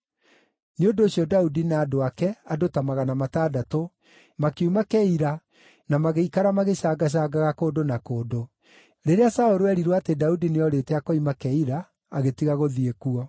Nĩ ũndũ ũcio Daudi na andũ ake, andũ ta magana matandatũ, makiuma Keila, na magĩikara magĩcangacangaga kũndũ na kũndũ. Rĩrĩa Saũlũ eerirwo atĩ Daudi nĩorĩte akoima Keila, agĩtiga gũthiĩ kuo.